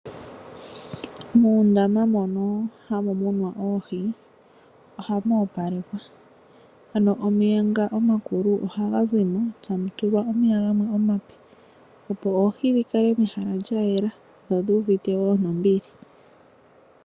Muundama mono hamu muninwa oohi ohamu opalekwa. Ano omeya ngo omakulu ohaga zimo eta mu tulwa omeya gamwe omape opo oohi dhikale mehala lya yela dho odhuuvite woo nombili.